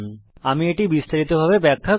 আমি এটিকে বিস্তারিতভাবে ব্যাখ্যা করছি